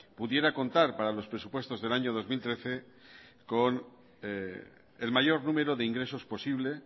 pudiera contar para los presupuestos del año dos mil trece con el mayor número de ingresos posible